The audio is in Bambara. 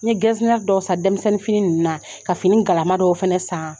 N ye gɛsinɛr dɔw san dɛmisɛnninfini ninnu na, ka fini galama dɔw fɛnɛ saan.